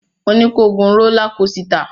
Mo ní ko gun rólá kosità!